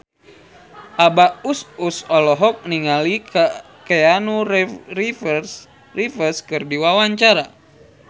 Abah Us Us olohok ningali Keanu Reeves keur diwawancara